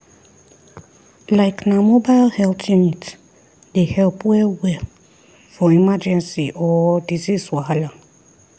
like na mobile health unit dey help well-well for emergency or disease wahala.